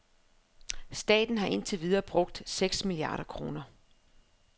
Staten har indtil videre brugt seks milliarder kroner.